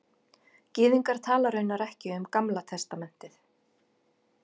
Gyðingar tala raunar ekki um Gamla testamentið